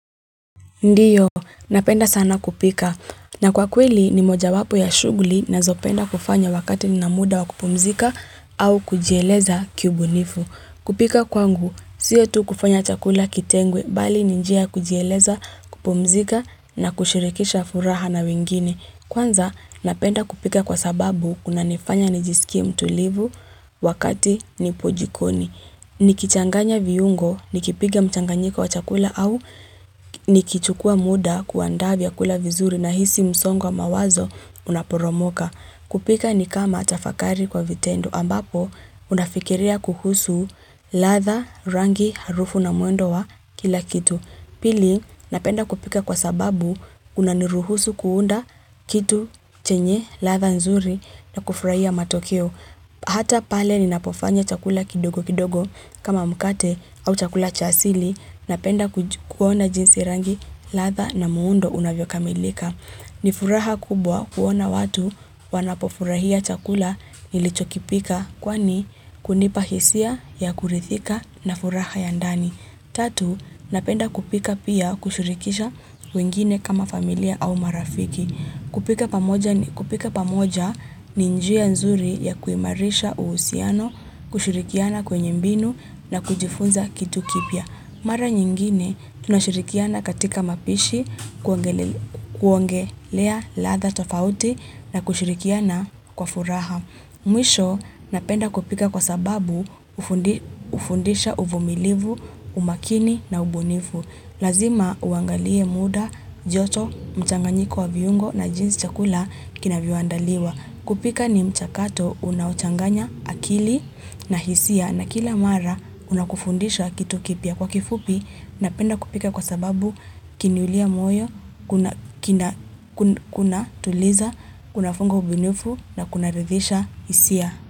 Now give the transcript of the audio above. Ndiyo, napenda sana kupika. Na kwa kweli ni moja wapo ya shughuli na zopenda kufanya wakati nina muda wa kupumzika au kujieleza kiubunifu. Kupika kwangu, siyo tu kufanya chakula kitengwe, bali ninjia kujieleza, kupumzika na kushirikisha furaha na wengine. Kwanza, napenda kupika kwa sababu kuna nifanya nijisikia mtulivu wakati nipojikoni. Ni kichanganya viungo, ni kipika mchanganyiko wa chakula au ni kichukua muda kuandaa vya kula vizuri na hisi msongwa mawazo unaporomoka. Kupika ni kama tafakari kwa vitendo ambapo unafikiria kuhusu ladha rangi harufu na muundo wa kila kitu. Pili napenda kupika kwa sababu unaniruhusu kuunda kitu chenye ladha nzuri na kufurahia matokeo. Hata pale ninapofanya chakula kidogo kidogo kama mkate au chakula chasili napenda kuona jinsi rangi ladha na muundo unavyo kamilika. Nifuraha kubwa kuona watu wanapofurahia chakula nilichokipika kwani kunipahisia ya kuridhika na furaha ya ndani. Tatu, napenda kupika pia kushirikisha wengine kama familia au marafiki. Kupika pamoja ni njia nzuri ya kuimarisha uhusiano, kushirikiana kwenye mbinu na kujifunza kitu kipya. Mara nyingine tunashirikiana katika mapishi, kuongelea ladha tofauti na kushirikiana kwa furaha. Mwisho napenda kupika kwa sababu ufundisha uvumilivu, umakini na ubunifu. Lazima uangalie muda, joto, mchanganyiko wa viungo na jinsi chakula kinavyo anda liwa. Kupika ni mchakato unauchanganya akili na hisia na kila mara unakufundisha kitu kipya kwa kifupi na penda kupika kwa sababu kinilia moyo, kuna tuliza, kuna fungo ubinufu na kuna ridhisha hisia.